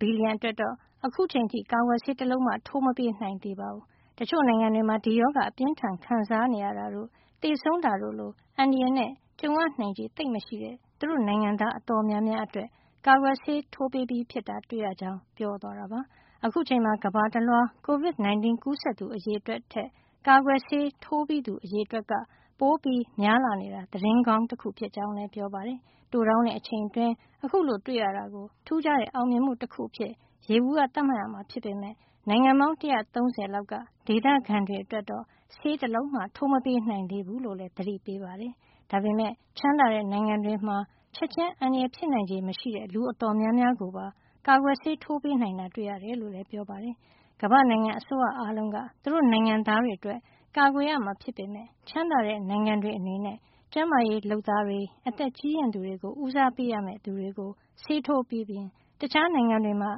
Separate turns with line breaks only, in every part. ဘီလီယံ အတွက်တော့ အခုအချိန်အထိ ကာကွယ်ဆေး တလုံးမှ ထိုးမပေးနိုင်သေးပါဘူး။ တချို့နိုင်ငံတွေမှာ ဒီရောဂါအပြင်းအထန်ခံစားရတာတို့ သေဆုံးတာတို့လို အန္တရာယ်နဲ့ကြုံရနိုင်ခြေ သိပ်မရှိတဲ့ သူတို့ နိုင်ငံသား အတော်များများအတွက် ကာကွယ်ဆေး ထိုးပေးပြီးတာ တွေ့ရကြောင်း ပြောသွားတာပါ။ အခုအချိန်မှာ ကမ္ဘာတလွှား Covid 19 ကူးစက်သူ အရေအတွက်ထက် ကာကွယ်ဆေး ထိုးပြီးသူ အရေအတွက်က ပိုများနေတာဟာ သတင်းကောင်း တခု ဖြစ်ကြောင်းလည်း ပြောပါတယ်။ တိုတောင်းတဲ့ အချိန်အတွင်း အခုလို တွေ့ရတာကို ထူးခြားတဲ့ အောင်မြင်မှုတခု အဖြစ် ယေဘူယျ သတ်မှတ်ရမှာ ဖြစ်ပေမယ့် နိုင်ငံပေါင်း ၁၃၀ လောက်က ဒေသခံတွေအတွက်တော့ ဆေးတလုံးမှ ထိုးမပေးနိုင်သေးဘူးလို့လည်း သတိပေးပါတယ်။ ဒါပေမယ့်ချမ်းသာတဲ့ နိုင်ငံတွေမှာ ချက်ချင်းအန္တရာယ်ဖြစ်နိုင်ခြေ မရှိသူ အတော်များများကိုပါ ကာကွယ်ဆေးထိုးပေးနိုင်တာ တွေ့ရတယ်လို့ ပြောပါတယ်။ ကမ္ဘာ့နိုင်ငံ အစိုးရအားလုံးက သူတို့ နိုင်ငံသားတွေ အတွက် ကာကွယ်ရမှာ ဖြစ်ပေမယ့် ချမ်းသာတဲ့ နိုင်ငံတွေ အနေနဲ့ ကျန်းမာရေးလုပ်သားတွေ၊ အသက်ကြီးရင့်သူတွေ လို ဦးစားပေးရမယ့် သူတွေကို ဆေးထိုးပေးပြီးရင် တခြားနိုင်ငံတွေမှာ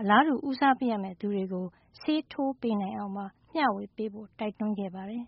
အလားတူဦးစားပေးရမယ့် သူတွေကို ဆေးထိုးပေး နိုင်အောင် မျှဝေပေးဖို့ ပါ တိုက်တွန်းခဲ့ပါတယ်။